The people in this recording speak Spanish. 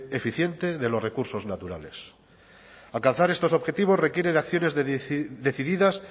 eficiente de los recursos naturales alcanzar estos objetivos requiere de acciones decididas